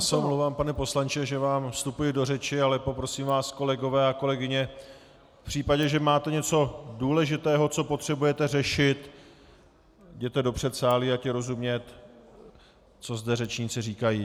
Já se omlouvám, pane poslanče, že vám vstupuji do řeči, ale poprosím vás, kolegové a kolegyně, v případě, že máte něco důležitého, co potřebujete řešit, jděte do předsálí, ať je rozumět, co zde řečníci říkají.